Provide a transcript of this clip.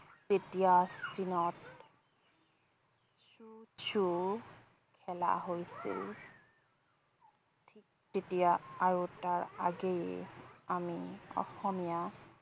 যেতিয়া চীনত cuju খেলা হৈছিল, ঠিক তেতিয়া আৰু তাৰ আগেয়ে আমি অসমীয়া